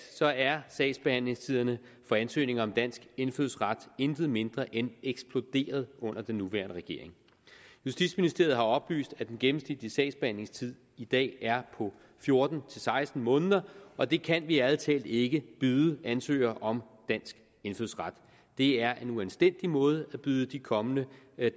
er sagsbehandlingstiderne for ansøgning om dansk indfødsret intet mindre end eksploderet under den nuværende regering justitsministeriet har oplyst at den gennemsnitlige sagsbehandlingstid i dag er på fjorten til seksten måneder og det kan vi ærlig talt ikke byde ansøgere om dansk indfødsret det er en uanstændig måde at byde de kommende